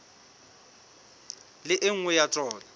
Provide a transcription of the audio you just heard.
le e nngwe ya tsona